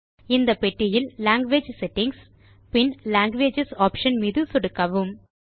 இந்த பெட்டியில் language settings பின் லாங்குவேஜஸ் ஆப்ஷன் மீது சொடுக்கவும்